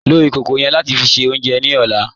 Lọ ikókó yẹ́n láti ṣẹ ọ̀unjẹ ní ọ̀là